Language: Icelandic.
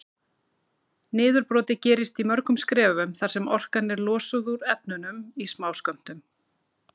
Niðurbrotið gerist í mörgum skrefum þar sem orkan er losuð úr efnunum í smáskömmtum.